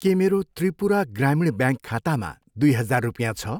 के मेरो त्रिपुरा ग्रामीण ब्याङ्क खातामा दुई हजार रुपियाँ छ?